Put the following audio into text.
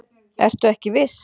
Ertu ekki viss?